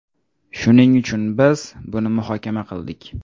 Shuning uchun, biz buni muhokama qildik.